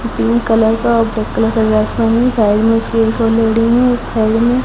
pink colour का और black colour का ड्रेस पहने हुए लेडी है इस साइड में --